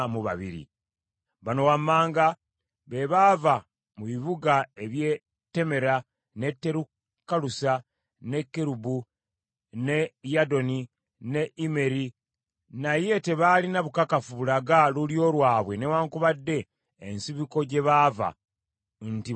Bano wammanga be baava mu bibuga eby’e Temmeera, n’e Terukalusa, n’e Kerubu, n’e Yaddoni, n’e Immeri, naye tebaalina bukakafu bulaga lulyo lwabwe newaakubadde ensibuko gye baava, nti Bayisirayiri: